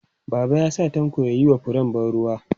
Baba ya sa Tanko ya yi wa furen ban ruwa.